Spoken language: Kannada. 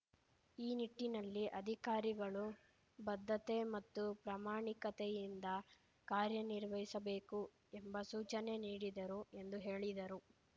ಈ ನಿಟ್ಟಿನಲ್ಲಿ ಅಧಿಕಾರಿಗಳು ಬದ್ಧತೆ ಮತ್ತು ಪ್ರಾಮಾಣಿಕತೆಯಿಂದ ಕಾರ್ಯನಿರ್ವಹಿಸಬೇಕು ಎಂಬ ಸೂಚನೆ ನೀಡಿದರು ಎಂದು ಹೇಳಿದರು